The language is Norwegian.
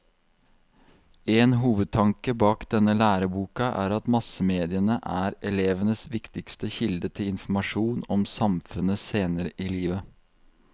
En hovedtanke bak denne læreboka er at massemediene er elevenes viktigste kilde til informasjon om samfunnet senere i livet.